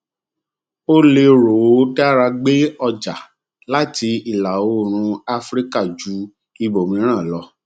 ó lérò ó dára gbé ọjà láti ìlàoòrùn áfíríkà ju ibòmíràn lọ